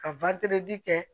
Ka kɛ